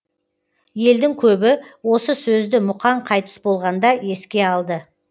елдің көбі осы сөзді мұқаң қайтыс болғанда еске алды